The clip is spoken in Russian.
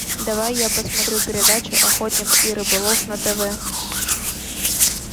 давай я посмотрю передачу охотник и рыболов на тв